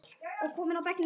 og kominn á bekkinn núna?